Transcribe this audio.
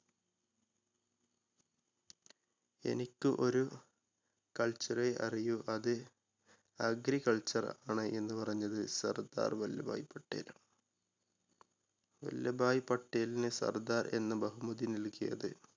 എനിക്ക് ഒരു culture റെ അറിയൂ അത് agriculture ആണ് എന്ന് പറഞ്ഞത് സർദാർ വല്ലഭായി പട്ടേലാണ്. വല്ലഭായി പട്ടേലിന് സർദാർ എന്ന ബഹുമതി നൽകിയത്